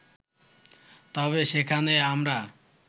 তবে সেখানে আমরা